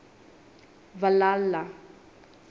valhalla